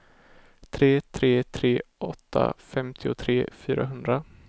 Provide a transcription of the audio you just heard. tre tre tre åtta femtiotre fyrahundra